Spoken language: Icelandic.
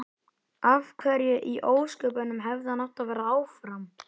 Af hverju í ósköpunum hefði hann átt að vera áfram?